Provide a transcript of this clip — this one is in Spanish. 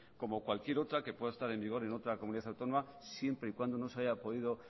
como cualquier otra que pueda estar en vigor en otra comunidad autónoma siempre y cuando no se haya podido